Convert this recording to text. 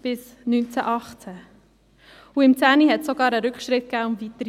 Im 2010 gab es sogar einen Rückschritt um 3–4 Prozent.